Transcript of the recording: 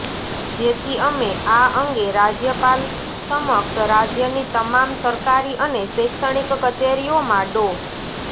જેથી અમે આ અંગે રાજયપાલ સમક્ષ રાજયની તમામ સરકારી અને શૈક્ષણિક કચેરીઓમાં ડો